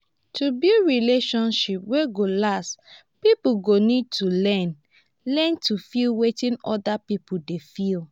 to build relationship wey go last pipo go need to learn learn to feel wetin oda pipo dey feel